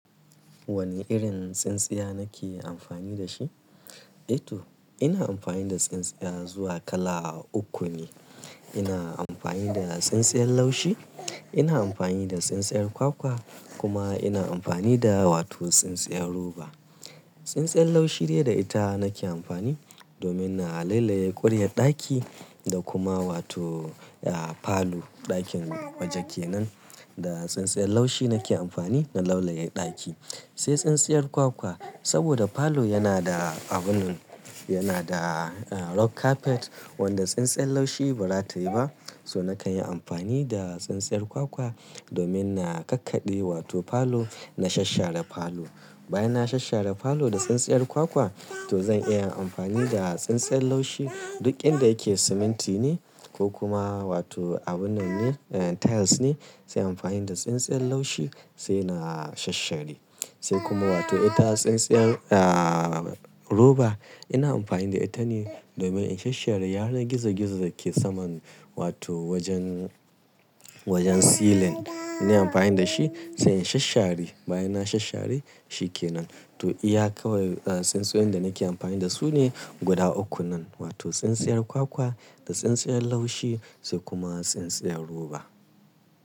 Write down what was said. Wane irin tsintsiya nake amfani da shi? Eh to ina amfani da tsintsiya zuwa kala uku ne. Ina amfani da tsintsiyar laushi, ina amfani da tsintsiyar kwakwa kuma ina amfani da wato tsintsiyar roba. Tsintsiyar laushi dai da ita nake amfani domin na laulaye ƙuriyar ɗaki da kuma wato falo ɗakin waje kenan. Da tsintsiyar laushi nake amfani na laulaye ɗaki. Sai tsintsiyar kwakwa saboda falo yana da abun yana da rug carpet wanda tsintsiyar laushi ba za ta yi ba. So nakan yi amfani da tsintsiyar kwakwa domin na kakkaɗe wato falo na shasshare falo. Bayan na shasshare falo da tsintsiyar kwakwa to zan iya amfani da tsintsiyar laushi duk inda yake siminti ne ko kuma wato abun tiles ne sai amfani da tsintsiyar laushi sai na shasshare. Sai kuma wato ita tsintsiyar roba ina amfani da ita ne domin in shasshare yanar gizo gizo da ke saman wato wajen wajen ceiling. Inna amfani da shi sai in shasshare bayan na shasshare shi kenan. To iya kawai tsintsiyoyin da nake amfani da su ne guda uku nan wato tsintsiyar kwakwa da tsintsiyar laushi sai kuma tsintsiyar roba.